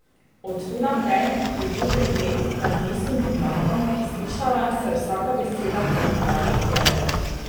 Od tu naprej je bil pregled nad mestnim vodnjakom in slišala se je vsaka beseda klepetavih dekel.